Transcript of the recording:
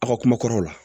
Aw ka kuma kɔrɔw la